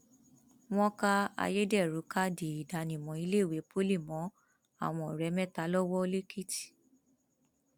wọn ká ayédèrú káàdì ìdánimọ iléèwé pọlì mọ àwọn ọrẹ mẹta lọwọ lẹkìtì